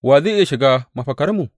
Wa zai iya shiga mafakarmu?